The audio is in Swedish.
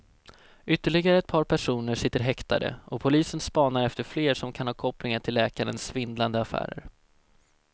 Ytterligare ett par personer sitter häktade och polisen spanar efter fler som kan ha kopplingar till läkarens svindlande affärer.